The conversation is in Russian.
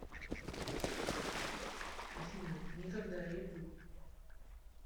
афина никогда ютуб